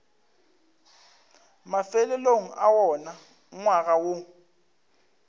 mafelelong a wona ngwaga woo